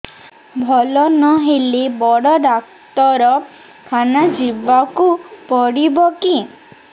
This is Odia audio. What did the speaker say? ଭଲ ନହେଲେ ବଡ ଡାକ୍ତର ଖାନା ଯିବା କୁ ପଡିବକି